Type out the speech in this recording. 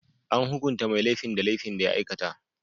An hukunta mai laifin da laifin da ya aikata.